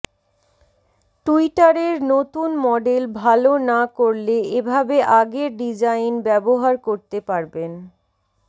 টুইটারের নতুন মডেল ভাল না করলে এভাবে আগের ডিজাইন ব্যাবহার করতে পারবেন